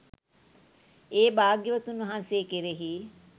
ඒ භාග්‍යවතුන් වහන්සේ කෙරෙහි